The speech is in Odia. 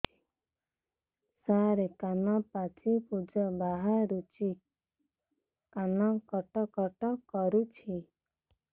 ସାର କାନ ପାଚି ପୂଜ ବାହାରୁଛି କାନ କଟ କଟ କରୁଛି